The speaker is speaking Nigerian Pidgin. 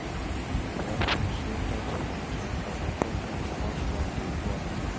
if e happen say task plenti, I go cut am small small dey do am